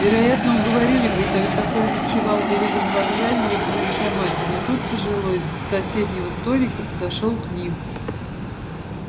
вероятно уговорили бы и тогда коля ночевал бы либо на вокзале либо в военкомате но тут пожилой с соседнего столика подошёл к ним